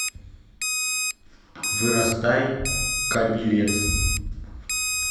вырастай ка билет